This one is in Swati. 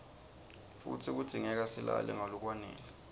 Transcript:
futsi kudzingeka silale ngalokwanele